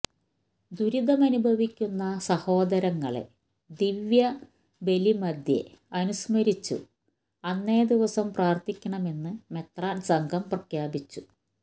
ദുരിതമനുഭവിക്കുന്ന സഹോദരങ്ങളെ ദിവ്യബലിമധ്യേ അനുസ്മരിച്ചു അന്നേദിവസം പ്രാർത്ഥിക്കണമന്ന് മെത്രാൻ സംഘം പ്രഖ്യാപിച്ചു